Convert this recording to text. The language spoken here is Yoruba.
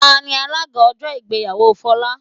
Tani alága ọjọ́ ìgbéyàwó Folá?